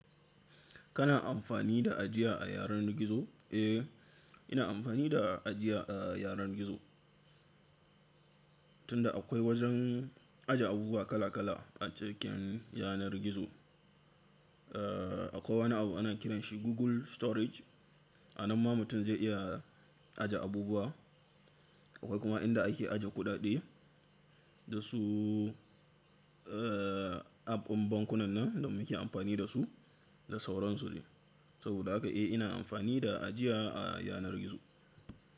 Kana amfani da ajiya a yanar gizo? Eh, ina amfani da ajiya a yanar gizo. Tunda akwai wajen aje abubuwa kala kala a cikin yanar gizo. Akwai wani abu ana kiranshi Google Storage a nan ma mutum zai iya aje abubuwa. Akwai kuma inda ake aje kuɗaɗe da su app ɗin bankunan nan da muke amfani da su da sauransu de. Saboda haka eh ina amfani da ajiya a yanar gizo.